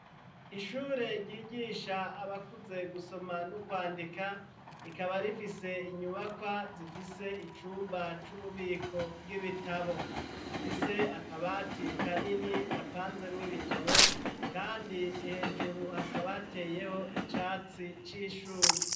Ishure, ryigisha abakuze, gusoma n'ukwandika; rikaba rifise inyubakwa, zifise icumba, c'ububiko bw'ibitabo, ifise akabati kanini, gapanzemwo ibitabo, kandi hejuru, hakaba hateyeho, icatsi c'ishurwe.